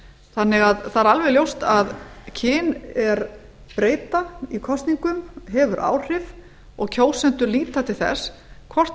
þannig að það er alveg ljóst að kynbreyta í kosningum hefur áhrif og kjósendur líta til þess hvort